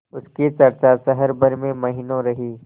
उसकी चर्चा शहर भर में महीनों रही